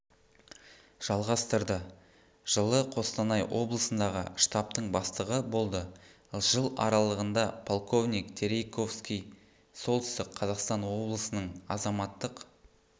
жалғастырды жылы қостанай облысындағы штабтың бастығы болды жыл аралығында полковник терейковский солтүстік қазақстан обласының азаматтық